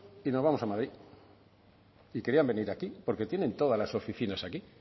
y nos vamos a madrid y querían venir aquí porque tienen todas las oficinas aquí